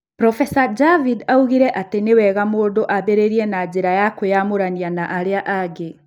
Prof. Javid oigire atĩ nĩ wega mũndũ ambĩrĩrie na njĩra ya kwĩyamũrania na arĩa angĩ.